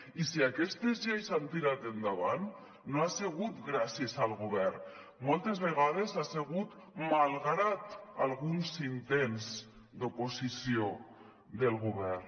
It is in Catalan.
i si aquestes lleis han tirat endavant no ha segut gràcies al govern moltes vegades ha segut malgrat alguns intents d’oposició del govern